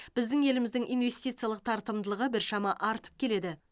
біздің еліміздің инвестициялық тартымдылығы біршама артып келеді